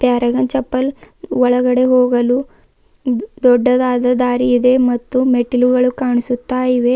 Paragon chappal ಒಳಗಡೆ ಹೋಗಲು ದೊಡ್ಡದಾದ ದಾರಿ ಇದೆ ಮತ್ತು ಮೆಟ್ಟಿಲುಗಳು ಕಾಣಿಸುತ್ತಾ ಇವೆ.